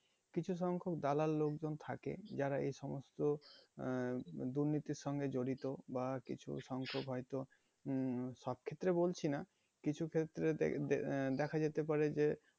কিছুসংখ্যক দালাল লোকজন থাকে যারা এইসব সমস্ত আহ দুর্নীতির সঙ্গে জড়িত বা কিছু সংখ্যক হয়তো উম সব ক্ষেত্রে বলছি না কিছু ক্ষেত্রে আহ দেখা যেতে পারে যে